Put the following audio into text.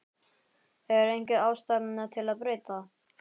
Er einhver ástæða til að breyta?